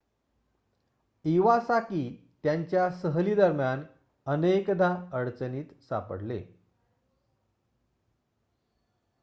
Iwasaki त्यांच्या सहली दरम्यान अनेकदा अडचणीत सापडले